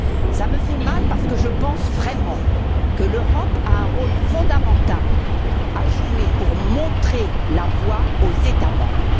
Cela m'a fait mal parce que je pense vraiment que l'Europe a un rôle fondamental à jouer pour montrer la voie aux États membres.